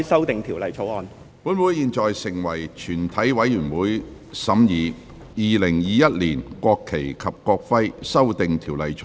本會現在成為全體委員會，審議《2021年國旗及國徽條例草案》。